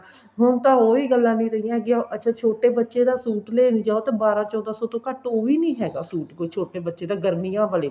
ਹੁਣ ਤਾਂ ਉਹੀ ਗੱਲਾ ਨਹੀਂ ਰਹੀਆਂ ਹੈਗੀਆਂ ਅੱਛਾ ਛੋਟੇ ਬੱਚੇ ਦਾ suit ਲੈਣ ਜਾਉ ਤਾਂ ਬਾਰਾਂ ਚੋਦਾਂ ਸੋ ਤੋਂ ਘੱਟ ਉਹ ਵੀ ਨੀ ਹੈਗਾ suit ਕੋਈ ਛੋਟੇ ਬੱਚੇ ਦਾ ਗਰਮੀਆਂ ਵਾਲੇ ਨੇ